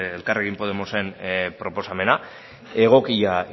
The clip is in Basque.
elkarrekin podemosen proposamena egokia